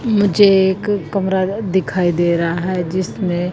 मुझे एक कमरा दिखाई दे रहा है जिसमें--